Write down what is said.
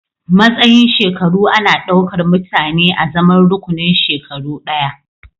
Matsayin shekaru ana ɗaukar mutane azaman rukunin shekaru ɗaya